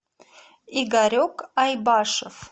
игорек айбашев